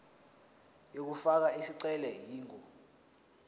yokufaka isicelo ingu